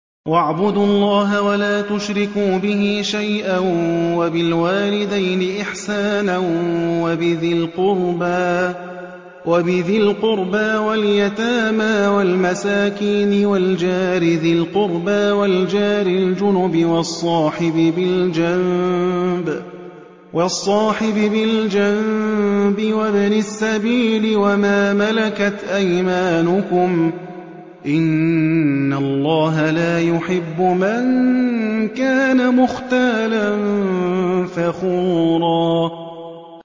۞ وَاعْبُدُوا اللَّهَ وَلَا تُشْرِكُوا بِهِ شَيْئًا ۖ وَبِالْوَالِدَيْنِ إِحْسَانًا وَبِذِي الْقُرْبَىٰ وَالْيَتَامَىٰ وَالْمَسَاكِينِ وَالْجَارِ ذِي الْقُرْبَىٰ وَالْجَارِ الْجُنُبِ وَالصَّاحِبِ بِالْجَنبِ وَابْنِ السَّبِيلِ وَمَا مَلَكَتْ أَيْمَانُكُمْ ۗ إِنَّ اللَّهَ لَا يُحِبُّ مَن كَانَ مُخْتَالًا فَخُورًا